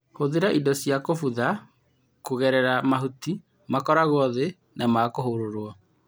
Hũthĩra indo cia gũbutha kũgerera mahuti makwarwo thĩ na makũhũrũrwo.